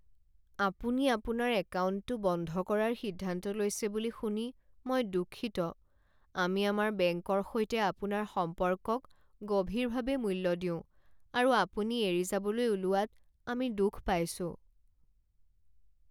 আপুনি আপোনাৰ একাউণ্টটো বন্ধ কৰাৰ সিদ্ধান্ত লৈছে বুলি শুনি মই দুঃখিত। আমি আমাৰ বেংকৰ সৈতে আপোনাৰ সম্পৰ্কক গভীৰভাৱে মূল্য দিওঁ, আৰু আপুনি এৰি যাবলৈ ওলোৱাত আমি দুখ পাইছোঁ।